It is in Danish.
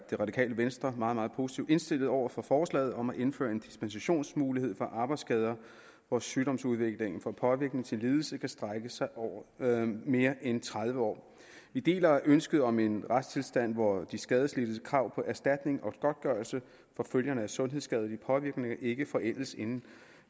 det radikale venstre meget meget positivt indstillet over for forslaget om at indføre en dispensationsmulighed for arbejdsskader hvor sygdomsudviklingen fra påvirkning til lidelse kan strække sig over mere end tredive år vi deler ønsket om en retstilstand hvor de skadelidtes krav på erstatning og godtgørelse for følgerne af sundhedsskadelig påvirkning ikke forældes inden